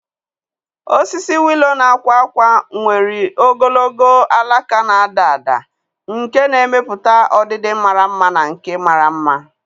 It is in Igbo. Osisi willow na-akwa ákwá nwere ogologo alaka na-ada ada nke na-emepụta ọdịdị mara mma na nke mara mma.